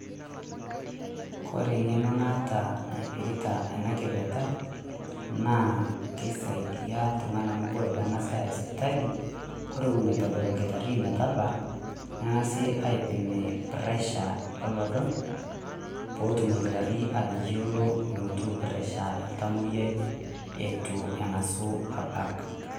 Kore eng'eno naata naipirita ena kipirta naa keisaidia oleng' amu teniking'asae aaya sipitali nikimpimi ore ewueji nedol olkitarri metabaa neng'asae aipimi pressure olodo peetum olkitarri atayiolo enetiu pressure eitu ang'as abak.